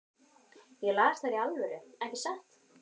Ég las þær í alvöru, ekki satt?